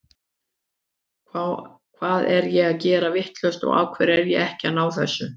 Hvað er ég að gera vitlaust og af hverju er ég ekki að ná þessu?